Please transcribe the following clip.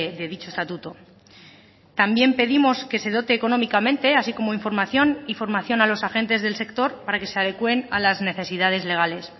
de dicho estatuto también pedimos que se dote económicamente así como información y formación a los agentes del sector para que se adecuen a las necesidades legales